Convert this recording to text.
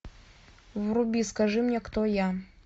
вруби скажи мне кто я